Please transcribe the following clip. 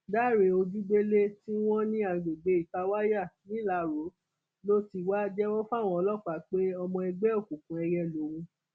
dáre ojúgbélé tí wọn ní àgbègbè itawaya nìlárò ló ti wá jẹwọ fáwọn ọlọpàá pé ọmọ ẹgbẹ òkùnkùn èìyẹ lòun